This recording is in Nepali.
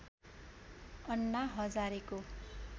अन्ना हजारेको